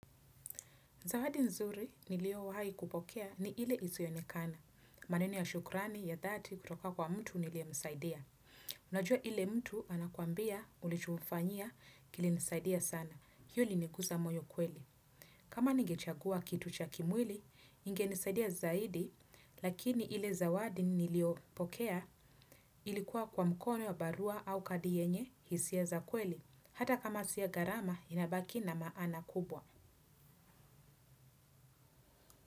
Zawadi nzuri niliyowahi kupokea ni ile isiyoonekana. Maneno ya shukrani ya dhati kutoka kwa mtu niliyemsaidia. Unajua ile mtu anakuambia ulichomfanya kilinisaidia sana. Hiyo imeniguza moyo kweli. Kama nigechagua kitu cha kimwili, ingenisaidia zaidi. Lakini ile zawadi niliyopokea ilikuwa kwa mkono ya barua au kadi yenye hisia za kweli. Hata kama si ya gharama inabaki na maana kubwa.